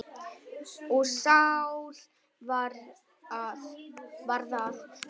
Og Sál varð að Páli.